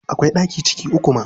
Akwai ɗaki ciki uku ma.